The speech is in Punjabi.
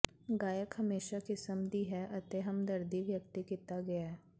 ਗਾਇਕ ਹਮੇਸ਼ਾ ਕਿਸਮ ਦੀ ਹੈ ਅਤੇ ਹਮਦਰਦੀ ਵਿਅਕਤੀ ਕੀਤਾ ਗਿਆ ਹੈ